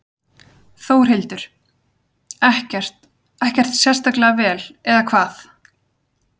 Þórhildur: Ekkert, ekkert sérstaklega vel eða hvað?